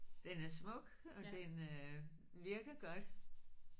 Den er smuk og den øh virker godt